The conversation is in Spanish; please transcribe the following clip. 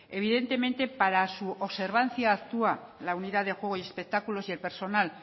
evidentemente para su observancia actúa la unidad de juego y espectáculos y el personal